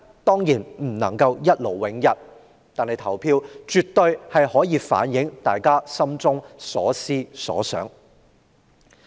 當然不能一勞永逸，但投票卻可反映市民心中所思所想。